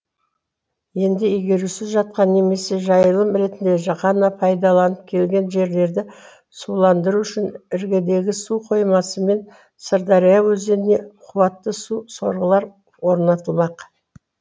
енді игерусіз жатқан немесе жайылым ретінде ғана пайдаланылып келген жерлерді суландыру үшін іргедегі су қоймасы мен сырдария өзеніне қуатты су сорғылар орнатылмақ